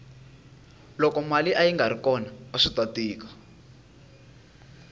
loko mali ayingari kona aswita tika